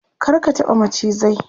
kar ka taɓa macizai!